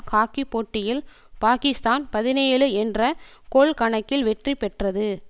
hockey போட்டியில் பாகிஸ்தான் பதினேழு என்ற கோல் கணக்கில் வெற்றி பெற்றது